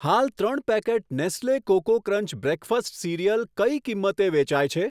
હાલ ત્રણ packet Nestle Koko Krunch breakfast cereal કઈ કિંમતે વેચાય છે?